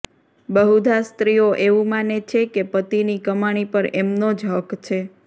બહુધા સ્ત્રીઓ એવું માને છે કે પતિની કમાણી પર એમનો જ હક છે